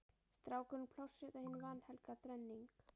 Strákurinn, Plássið og hin vanhelga þrenning